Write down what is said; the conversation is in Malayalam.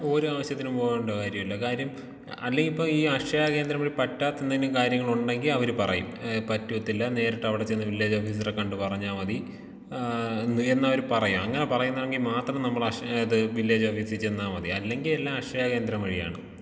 ഒരു ആവശ്യത്തിനും പോകണ്ട കാര്യമില്ല കാര്യം ആ അല്ലെങ്കി ഇപ്പൊ അക്ഷയ കേന്ദ്രം വഴി പറ്റാത്ത എന്തെങ്കിലും കാര്യമുണ്ടെങ്കി അവർ പറയും ഏ പറ്റത്തില്ല നേരിട്ടവിടെ ചെന്ന് വില്ലേജ് ഓഫീസറെ കണ്ട് പറഞ്ഞാൽ മതി ആ എന്നവര് പറയും അങ്ങനെ പറയുന്നെങ്കി മാത്രം നമ്മള് അക്ഷ ഏത് വില്ലേജ് ഓഫീസി ചെന്നാ മതി അല്ലെങ്കി എല്ലാം അക്ഷയ കേന്ദ്രം വഴിയാണ്.